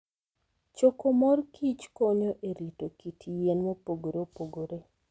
Choko mor kich konyo e rito kit yien mopogore opogore.